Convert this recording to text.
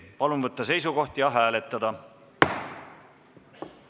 Palun võtta seisukoht ja hääletada!